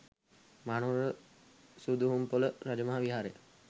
Mahanuwara Suduhumpola Rajamaha Viharaya